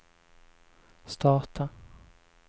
starta